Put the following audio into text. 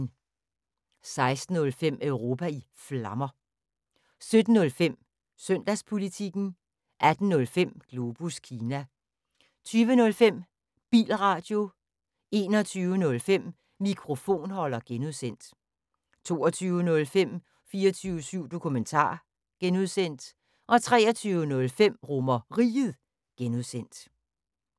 16:05: Europa i Flammer 17:05: Søndagspolitikken 18:05: Globus Kina 20:05: Bilradio 21:05: Mikrofonholder (G) 22:05: 24syv Dokumentar (G) 23:05: RomerRiget (G)